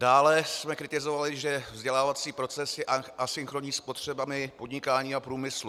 Dále jsme kritizovali, že vzdělávací proces je asynchronní s potřebami podnikání a průmyslu.